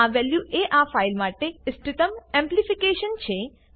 આ વેલ્યુ એ આ ફાઈલ માટે ઈષ્ટતમ એમ્પ્લીફિકેશન છે